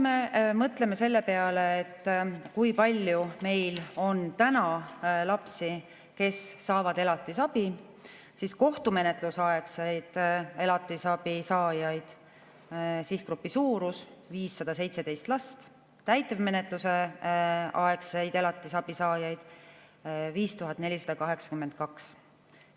Mõtleme selle peale, kui palju meil on lapsi, kes saavad elatisabi: kohtumenetlusaegse elatisabi saajate sihtgrupi suurus on 517 last, täitemenetlusaegse elatisabi saajaid on 5482.